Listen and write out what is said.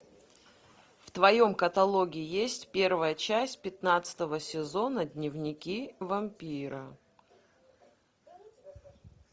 в твоем каталоге есть первая часть пятнадцатого сезона дневники вампира